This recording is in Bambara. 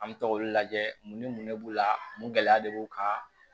An bɛ to k'olu lajɛ mun ni mun de b'u la mun gɛlɛya de b'u kan